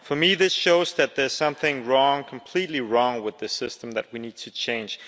For me, this shows that there's something wrong, completely wrong, with the system and that we need to change.